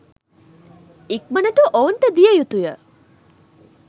ඉක්මනට ඔවුන්ට දිය යුතුය